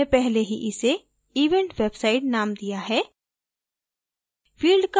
क्योंकि हमने पहले ही इसे event website named दिया है